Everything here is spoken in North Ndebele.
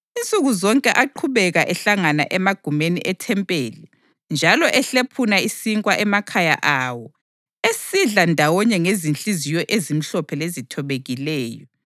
Insuku zonke aqhubeka ehlangana emagumeni ethempeli njalo ehlephuna isinkwa emakhaya awo esidla ndawonye ngezinhliziyo ezimhlophe lezithobekileyo,